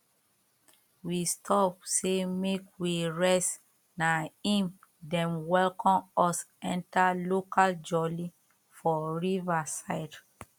we stop say make we rest na em dem welcome us enter local jolly for river side